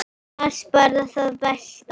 Las bara það besta.